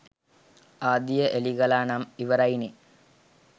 ආදිය එලිකළා නම් ඉවරයි නේ